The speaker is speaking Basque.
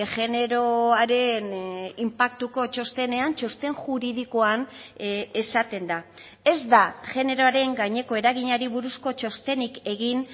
generoaren inpaktuko txostenean txosten juridikoan esaten da ez da generoaren gaineko eraginari buruzko txostenik egin